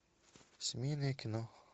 семейное кино